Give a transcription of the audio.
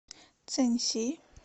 цэньси